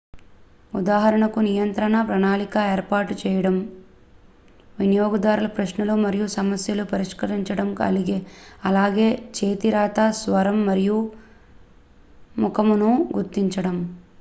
ఉదాహరణకు నియంత్రణ ప్రణాళిక ఏర్పాటు చేయడం వినియోగదారుల ప్రశ్నలు మరియు సమస్యలను పరిష్కరించడం అలాగే చేతి రాత స్వరం మరియు ముఖమును గుర్తించడం